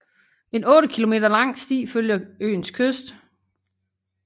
En otte kilometer lang sti følger øens kyst